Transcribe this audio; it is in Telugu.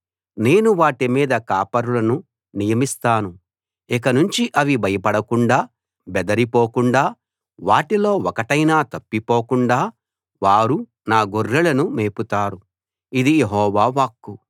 నేను వాటి మీద కాపరులను నియమిస్తాను ఇకనుంచి అవి భయపడకుండా బెదరి పోకుండా వాటిలో ఒకటైనా తప్పిపోకుండా వారు నా గొర్రెలను మేపుతారు ఇది యెహోవా వాక్కు